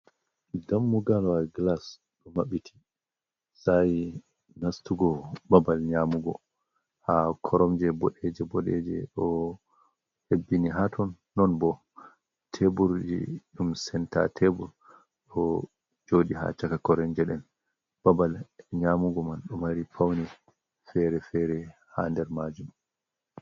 Dammugalwa gilas ɗo maɓɓiti, sayi nastugo babal nyamugo ha koromje boɗeje, boɗeje, ɗo hebbini haton. non bo teburji yumsenta tebur ɗo joɗi ha caka koromje nden babal nyamugo man ɗo mari paune fere-fere ha nder majum.